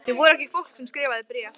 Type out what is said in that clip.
Þeir voru ekki fólk sem skrifaði bréf.